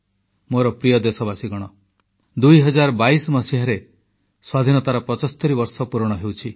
ମୋର ପ୍ରିୟ ଦେଶବାସୀଗଣ 2022 ମସିହାରେ ସ୍ୱାଧୀନତାର 75 ବର୍ଷ ପୂରଣ ହେଉଛି